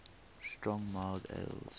strong mild ales